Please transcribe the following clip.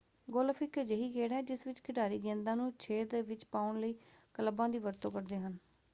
Golf ਇੱਕ ਅਜਿਹੀ ਖੇਡ ਹੈ ਜਿਸ ਵਿੱਚ ਖਿਡਾਰੀ ਗੇਂਦਾਂ ਨੂੰ ਛੇਦ ਵਿੱਚ ਪਾਉਣ ਲਈ ਕਲੱਬਾਂ ਦੀ ਵਰਤੋਂ ਕਰਦੇ ਹਨ।